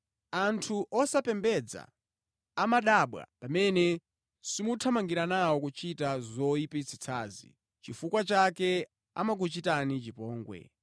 Anthu osapembedza amadabwa pamene simuthamangira nawo kuchita zoyipitsitsazi, nʼchifukwa chake amakuchitani chipongwe.